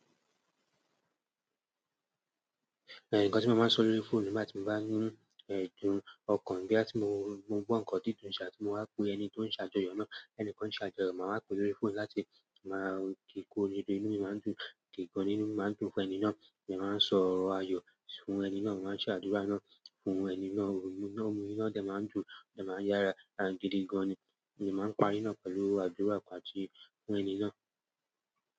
Ẹni kan tí mo máa ń sọ lórí fóònù nígbà tí mo bá ní ẹ̀dùn ọkàn bí à tí mo gbọ́ nǹkan dídùn ṣá tí mo wa pe ẹni tó ń ṣàjọyọ̀ náà, ẹni kan ṣàjọyọ̀ máa ń pe lórí fóònù láti máa ki kó orire, inú mi máa ń dùn, dìgán ínú máa ń dùn. Fún ẹni náà, mode máa ń sọ ọ̀rọ̀ ayọ̀ fún ẹni náà, máa ń ṣe àdúrà náà fún ẹni náà, oyún náà mú inú náà dà máa ń dùn, dà máa ń yára lára gidi gan ni, èmi máa ń parí náà pẹ̀lú àdúrà pàṣẹ fún ẹni náà.